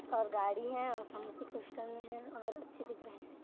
और गाड़ी हैऔर सन की क्रिस्टल में हैऔर अच्छे दिख रहे है।